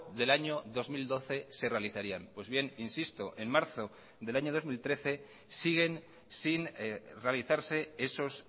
del año dos mil doce se realizarían pues bien insisto en marzo del año dos mil trece siguen sin realizarse esos